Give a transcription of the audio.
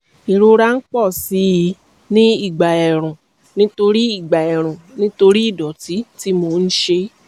ìrora ń pọ̀ sí i ní ìgbà ẹ̀ẹ̀rùn nítorí ìgbà ẹ̀ẹ̀rùn nítorí ìdọ̀tí tí mo ń ṣe